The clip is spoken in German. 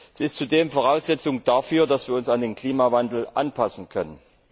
Sie ist zudem Voraussetzung dafür, dass wir uns an den Klimawandel anpassen können.